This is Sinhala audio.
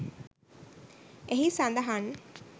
එහි සඳහන්.